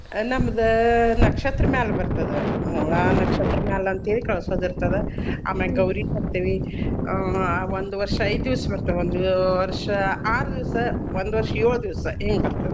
ನಮ್ದ್ ನಕ್ಷತ್ರ ಮ್ಯಾಲ್ ಬರ್ತದ. ಮೂಲಾ ನಕ್ಷತ್ರ ಮ್ಯಾಲ್ ಅಂತ್ಹೇಳಿ ಕಳ್ಸೋದ್ ಇರ್ತದ. ಆಮೇಲ್ ಗೌರೀ ತರ್ತೇವಿ ಅಹ್ ಒಂದ್ ವರ್ಷ ಐದ್ ದೀವ್ಸ್ ಬರ್ತದ ಒಂದ್ ವರ್ಷ ಆರ್ ದೀವ್ಸ್, ಒಂದ್ ವರ್ಷ ಏಳ್ ದೀವ್ಸ್ ಹಿಂಗ್ ಬರ್ತದ.